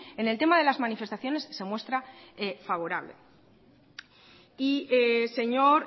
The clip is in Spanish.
en el tema de las manifestaciones se muestra favorable y señor